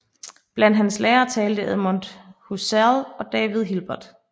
Blandt hans lærere talte Edmund Husserl og David Hilbert